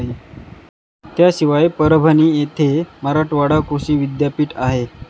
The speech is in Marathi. त्याशिवाय परभणी येथे मराठवाडा कृषी विद्यापीठ आहे.